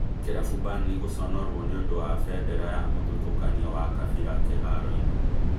Kĩrabu Burnely gũconorwo nĩũndũ wa bendera ya mũthutũkanio wa kabira kĩharoo-inĩ